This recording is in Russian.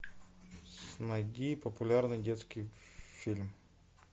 найди популярный детский фильм